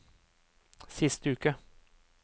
siste uke